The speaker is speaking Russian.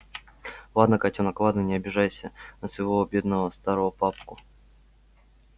ладно котёнок ладно не обижайся на своего бедного старого папку